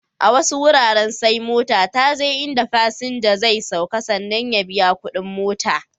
A wasu wuraren sai mota ta je in da fasinja zai sauka sannan ya biya kuɗin mota.